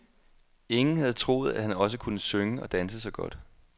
Ingen havde troet, at han også kunne synge og danse så godt.